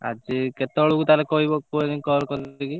ଆଜି କେତେବେଳକୁ ତାହେଲେ କହିବ call କରିକି?